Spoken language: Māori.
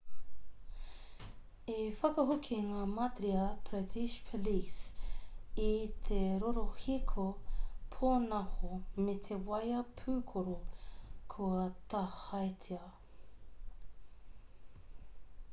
i whakahoki ngā madhya pradesh police i te rorohiko pōnaho me te waea pūkoro kua tāhaetia